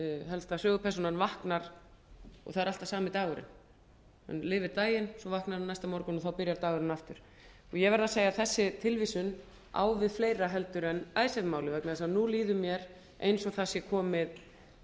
helsta sögupersónan vaknar og það er alltaf sami dagurinn hann lifir daginn svo vaknar hann aftur næsta morgun og þá byrjar dagurinn aftur ég verð að segja að þessi tilvísun á við fleira heldur en icesave málið vegna þess að nú líður mér eins og það sé komið